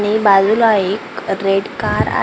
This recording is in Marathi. आणि बाजूला एक रेड कार आहे .